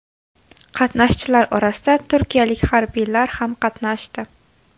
Qatnashchilar orasida turkiyalik harbiylar ham qatnashdi.